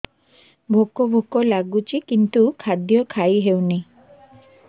ଭୋକ ଭୋକ ଲାଗୁଛି କିନ୍ତୁ ଖାଦ୍ୟ ଖାଇ ହେଉନି